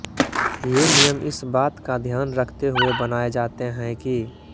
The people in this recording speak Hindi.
ये नियम इस बात का ध्यान रखते हुए बनाये जाते हैं कि